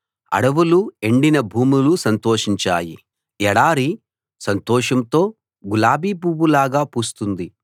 అడవులు ఎండిన భూములు సంతోషిస్తాయి ఎడారి సంతోషంతో గులాబీ పువ్వులాగా పూస్తుంది